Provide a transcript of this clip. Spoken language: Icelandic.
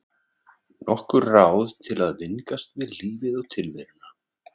Nokkur ráð til að vingast við lífið og tilveruna.